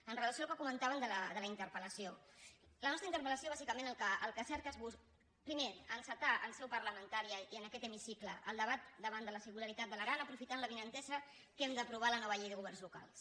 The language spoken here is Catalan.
amb relació al que comentàvem de la interpel·lació la nostra interpelmer encetar en seu parlamentària i en aquest hemicicle el debat davant de la singularitat de l’aran aprofitant l’avinentesa que hem d’aprovar la nova llei de governs locals